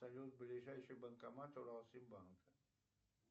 салют ближайший банкомат уралсиббанка